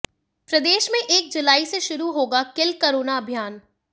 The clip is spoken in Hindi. प्रदेश में एक जुलाई से शुरू होगा किल कोरोना अभियान